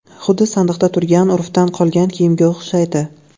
Xuddi sandiqda turgan, urfdan qolgan kiyimga o‘xshaydi.